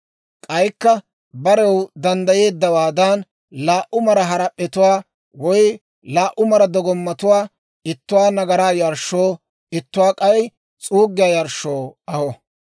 K'aykka barew danddayeeddawaadan laa"u maraa harap'p'etuwaa woy laa"u mara dogomattuwaa, ittuwaa nagaraa yarshshoo, ittuwaa k'ay s'uuggiyaa yarshshoo aho.